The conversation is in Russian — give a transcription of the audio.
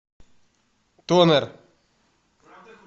тонер